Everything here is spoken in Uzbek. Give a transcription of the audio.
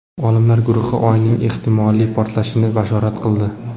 Olimlar guruhi Oyning ehtimoliy portalishini bashorat qildi.